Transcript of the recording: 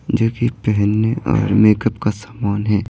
जो कि पहनने और मेकअप का सामान है।